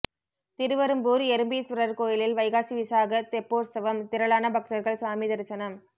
திருவெறும்பூர் எறும்பீஸ்வரர் கோயிலில் வைகாசி விசாக தெப்போற்சவம் திரளான பக்தர்கள் சாமி தரிசனம்